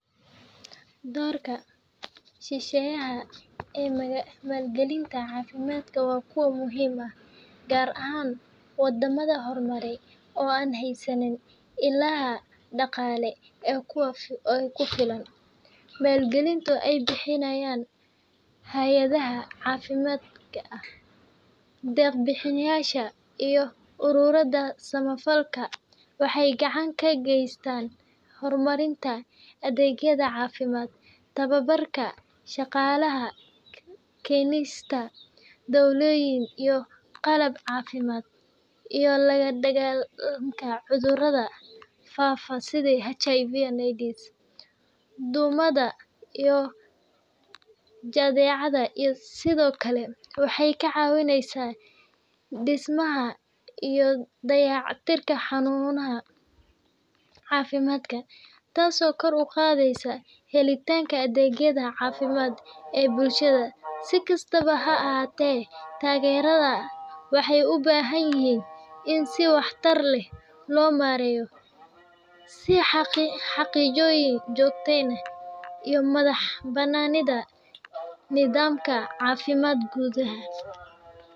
Doorrarka shisheeyaha ee maalgelinta caafimaadka waa kuwo muhiim ah, gaar ahaan waddamada horumaraya oo aan haysan ilaha dhaqaale ee ku filan. Maalgelinta ay bixiyaan hey’adaha caalamiga ah, deeq-bixiyeyaasha, iyo ururada samafalka waxay gacan ka geysataa horumarinta adeegyada caafimaad, tababarka shaqaalaha, keenista daawooyin iyo qalab caafimaad, iyo la-dagaallanka cudurrada faafa sida HIV/AIDS, duumada iyo jadeecada. Sidoo kale, waxay ka caawisaa dhismaha iyo dayactirka xarumaha caafimaadka, taasoo kor u qaadda helitaanka adeegyada caafimaad ee bulshada. Si kastaba ha ahaatee, taageeradaas waxay u baahan tahay in si waxtar leh loo maareeyo si loo xaqiijiyo joogteynta iyo madax-bannaanida nidaamka caafimaadka gudaha.